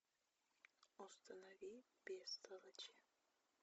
установи бестолочь